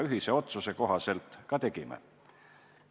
Ühise otsuse kohaselt seda me ka tegime.